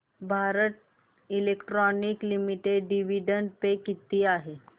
Bharat electronics limited dividend पे किती आहे